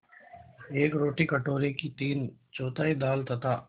एक रोटी कटोरे की तीनचौथाई दाल तथा